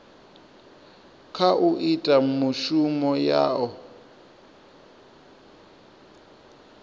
kha u ita mishumo yao